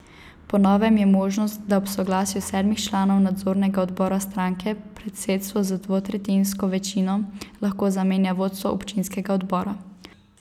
Po novem je možnost, da ob soglasju sedmih članov nadzornega odbora stranke, predsedstvo z dvotretjinsko večino lahko zamenja vodstvo občinskega odbora.